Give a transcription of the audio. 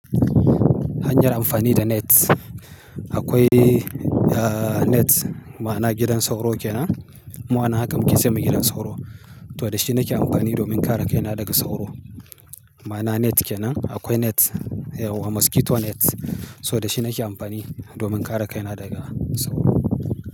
Hanyar amfani da net. Akwai eh net ma'ana gidan sauro kenan. Mu anan haka muke ce mai gidan sauro. To da shi nake amfani domin kare kaina daga sauro. Ma'ana net kenan. Akwai net, eh mosquito net. So da shi nake amfani domin kare kaina daga sauro.